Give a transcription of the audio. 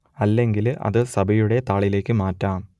അല്ലെങ്കിൽ അത് സഭയുടെ താളിലേക്ക് മാറ്റാം